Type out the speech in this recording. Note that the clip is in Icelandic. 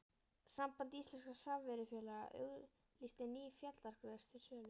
Samband íslenskra samvinnufélaga auglýsti ný fjallagrös til sölu.